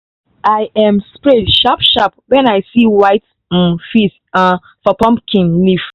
i um spray sharp sharp when i see white um fizz um for pumpkin leaf.